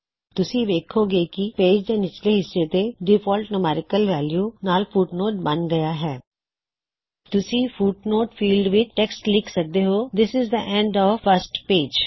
ਤੁਸੀਂ ਵੇੱਖੋਂ ਗੇ ਕੀ ਪੇਜ ਦੇ ਨਿਚਲੇ ਹਿੱਸੇ ਤੇ ਡਿਫਾਲਟ ਨੂਮੈੱਰਿਕਲ ਵੈੱਲੂ ਨਾਲ ਫੁਟਨੋਟ ਬਨ ਹਇਆ ਹੈ ਤੁਸੀ ਫੁੱਟਨੋਟ ਫੀਲਡ ਵਿੱਚ ਟੈੱਕਸਟ ਲਿਖ ਸਕਦੇ ਹੋਂ this is the end of first page